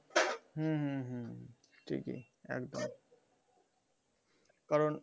হুম হুম হুম ঠিকই একদম কারণ